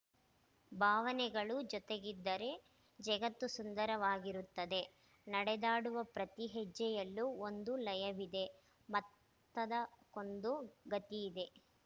ಭಾವನೆಗಳು ಜೊತೆಗಿದ್ದರೆ ಜಗತ್ತು ಸುಂದರವಾಗಿರುತ್ತದೆ ನಡೆದಾಡುವ ಪ್ರತಿ ಹೆಜ್ಜೆಯಲ್ಲೂ ಒಂದು ಲಯವಿದೆ ಮತ್ತದಕೊಂದು ಗತಿಯಿದೆ